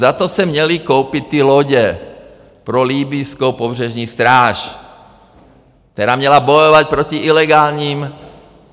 Za to se měli koupit ty lodě pro libyjskou pobřežní stráž, která měla bojovat proti ilegálním...